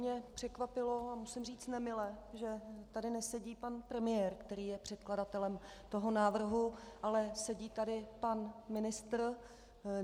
Mě překvapilo, a musím říci nemile, že tady nesedí pan premiér, který je předkladatelem toho návrhu, ale sedí tady pan ministr.